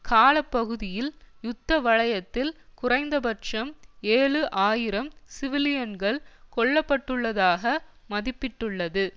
கால பகுதியில் யுத்த வலயத்தில் குறைந்தபட்சம் ஏழு ஆயிரம் சிவிலியன்கள் கொல்ல பட்டுள்ளதாக மதிப்பிட்டுள்ளது